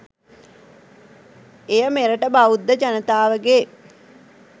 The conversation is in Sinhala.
එය මෙරට බෞද්ධ ජනතාවගේ